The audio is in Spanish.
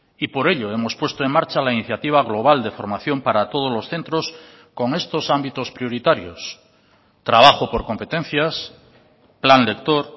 y por ello hemos puesto en marcha la iniciativa global de formación para todos los centros con estos ámbitos prioritarios trabajo por competencias plan lector